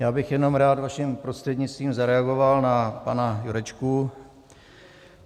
Já bych jenom rád vaším prostřednictvím zareagoval na pana Jurečku.